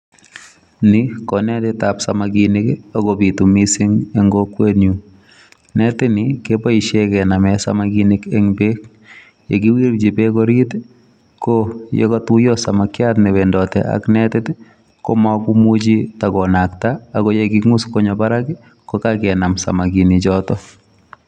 Ni konetitab samakinik ago bitu mising en kokwenyun. Netitni keboishen kenamen samakinik en beek. Ye kiwirchi beek ii, ko yekatuiyo samakiat newendote ak netit ii komokomuchi tagonakta ago ye king'us konyo barak ii kogakenam samakinichoto.